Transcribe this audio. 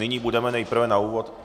Nyní budeme nejprve na úvod...